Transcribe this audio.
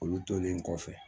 Olu tolen kɔfɛ